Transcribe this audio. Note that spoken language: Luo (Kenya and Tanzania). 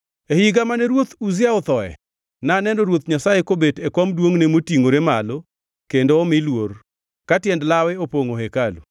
E higano mane Ruoth Uzia othoe, naneno Ruoth Nyasaye kobet e kom duongʼ motingʼore malo kendo omi luor, ka tiend lawe opongʼo hekalu.